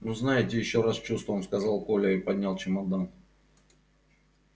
ну знаете ещё раз с чувством сказал коля и поднял чемодан